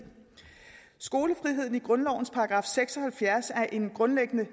skolefriheden i grundlovens § seks og halvfjerds er en grundlæggende